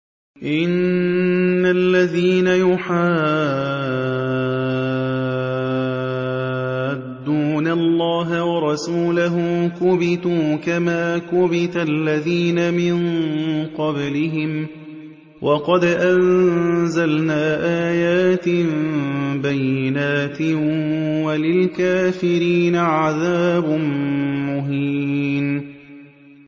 إِنَّ الَّذِينَ يُحَادُّونَ اللَّهَ وَرَسُولَهُ كُبِتُوا كَمَا كُبِتَ الَّذِينَ مِن قَبْلِهِمْ ۚ وَقَدْ أَنزَلْنَا آيَاتٍ بَيِّنَاتٍ ۚ وَلِلْكَافِرِينَ عَذَابٌ مُّهِينٌ